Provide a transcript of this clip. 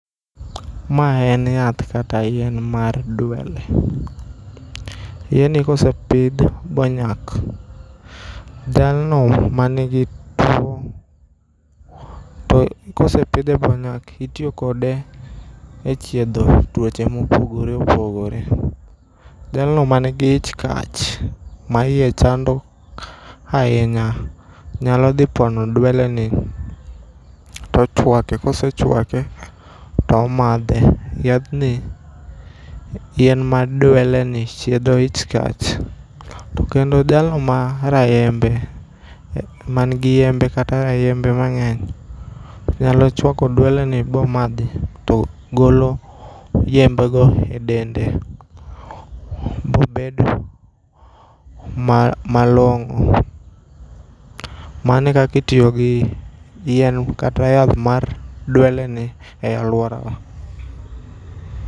Ma en yath kata yien mar dwele. Yien ni ka osepidh ba onyak, jalno manigi two. To kosepidhe bonyak, itiyo kode e chiedho tuoche mopogore opogore. Jalno ma nigi ich kach, ma iye chando ahinya nyalo dhi pono dwele ni to ochwake. Ka osechwake to omadhe. Yadhni, yien mar dwele ni chiedho ich kach. To kendo jalno ma rayembe. Ma nigi yembe kata rayembe mangény, nyalo chwako dwele ni ba omadhi. To golo yiembe go e dende, bo bedo ma malongó. Mano e kaka itiyo gi yien, kata yath mar dwele ni e alworawa.